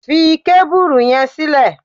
Fi kábùrù yẹn sílẹ̀!